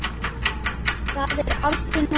Það er aldrei nógu gott.